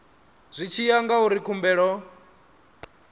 zwi tshi ya ngauri khumbelo